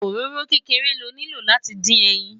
òróró kékeré ló nilo láti dín ẹyìn